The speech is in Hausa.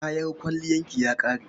Kayan kwalliyarki ya ƙare?